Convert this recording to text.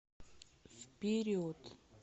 вперед